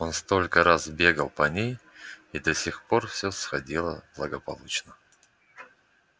он столько раз бегал по ней и до сих пор все сходило благополучно